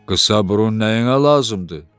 Qısa burun nəyinə lazımdır?